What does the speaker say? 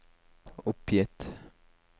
oppgitt